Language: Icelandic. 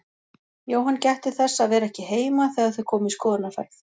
Jóhann gætti þess að vera ekki heima þegar þau komu í skoðunarferð.